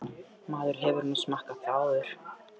Maður hefur nú smakkað það áður.